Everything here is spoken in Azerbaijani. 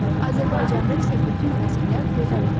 Azərbaycanda isə bütün fəsillər gözəl olur.